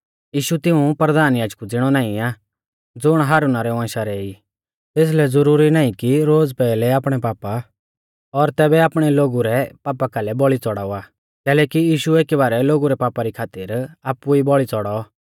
यीशु तिऊं परधान याजकु ज़िणै नाईं आ ज़ुण हारुना रै वंशा रै ई तेसलै ज़रुरी नाईं कि रोज़ पैहलै आपणै पापा और तैबै आपणै लोगु रै पापा कालै बौल़ी च़ड़ावा कैलैकि यीशु एकी बारै लोगु रै पापा री खातिर आपु ई बौल़ी च़ौड़ौ